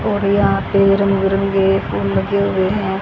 और यहां पे रंग बिरंगे फूल लगे हुए हैं।